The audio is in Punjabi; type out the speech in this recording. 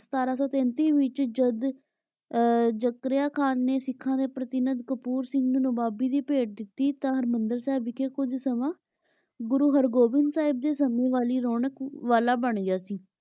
ਸਤਰਾਂ ਸੂ ਤੇਨ੍ਤਿਸ ਵਿਚ ਜਦ ਜ਼ਕ੍ਰਿਯਾ ਖਾਨ ਨੇ ਸਿਖਾਂ ਦੇ ਪ੍ਰਤੀਨੰਦ ਕਪੂਰ ਸਿੰਘ ਨਵਾਬੀ ਦੀ ਭੇਦ ਦਿਤੀ ਤੇ ਹਰ੍ਬੰਦਲ ਸਾਹਿਬ ਕੁਜ ਸਮਾਂ ਗੁਰੂ ਹਰ ਗੋਬਿੰਦਹ ਸਾਹਿਬ ਦੇ ਸਮੇ ਦੀ ਰੋਨਕ ਵਾਲਾ ਬਣ ਗਯਾ ਸੀ